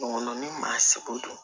Ŋɔn ŋɔni maa seko